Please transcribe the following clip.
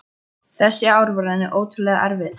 Þessi ár voru henni ótrúlega erfið.